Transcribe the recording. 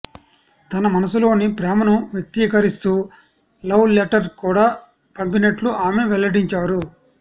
తన మనసులోని ప్రేమను వ్యక్తీకరిస్తూ లవ్ లెటర్ కూడా పంపినట్లు ఆమె వెల్లడించారు